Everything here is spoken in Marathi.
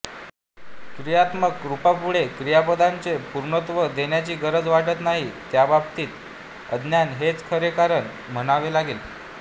क्रियात्मक रूपांपुढे क्रियापदाचे पूर्णत्व देण्याची गरज वाटत नाही त्याबाबतीत अज्ञान हेच खरे कारण म्हणावे लागेल